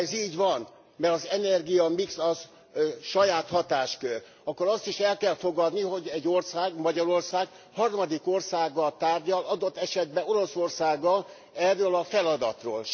Ha ez így van mert az energiamix az saját hatáskör akkor azt is el kell fogadni, hogy egy ország, Magyarország, harmadik országgal tárgyal adott esetben Oroszországgal erről a feladatról.